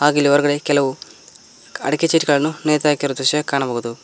ಹಾಗೆ ಇಲ್ಲಿ ಹೊರಗಡೆ ಕೆಲವು ಅಡಿಕೆ ಚೀಟುಗಳನ್ನು ನೇತು ಹಾಕಿರುವ ದೃಶ್ಯ ಕಾಣಬಹುದು.